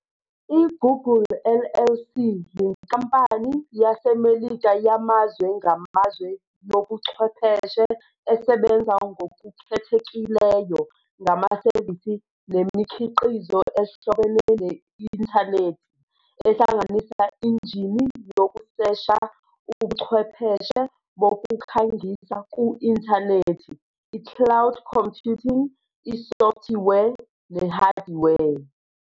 I-Google LLC yinkampani yaseMelika yamazwe ngamazwe yobuchwepheshe esebenza ngokukhethekileyo ngamasevisi nemikhiqizo ehlobene ne-inthanethi, ehlanganisa injini yokusesha, ubuchwepheshe bokukhangisa ku-inthanethi, i-cloud computing, isofthiwe, nehadiwe.